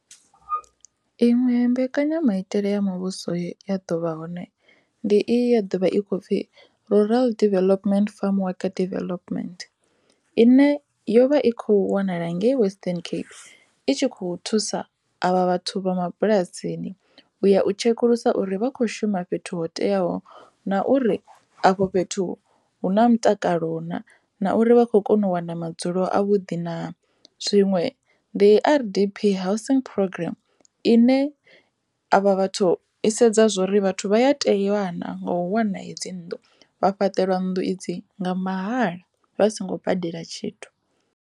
Iṅwe mbekanyamaitele ya muvhuso ya dovha hone ndi i ya ḓovha i kho pfhi rural development farm worker development ine yo vha i kho wanala ngei Western Cape i tshi kho thusa avha vhathu vha mabulasini u ya u tshekulusa uri vha kho shuma fhethu ho teaho na uri afho fhethu hu na mutakalo na na uri vha khou kona u wana madzulo a vhuḓi na. Zwiṅwe ndi R_D_P housing programm ine avha vhathu i sedza zwo uri vhathu vha ya teiwana nga u wana hedzi nnḓu vha fhaṱelwa nnḓu idzi nga mahala vha songo badela tshithu.